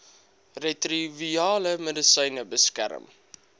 retrovirale medisyne beskerm